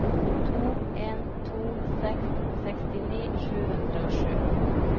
to en to seks sekstini sju hundre og sju